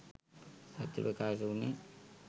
සත්‍යය ප්‍රකාශ වුණේ